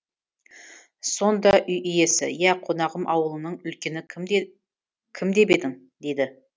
сонда үй иесі ия қонағым ауылыңның үлкені кім деп едің дейді